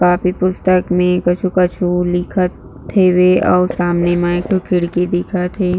Copy पुस्तक में कछु-कछु लिखत हेवे अऊ सामने म एक ठो खिड़की दिखत हे।